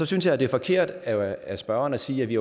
synes jeg det er forkert af spørgeren at sige at vi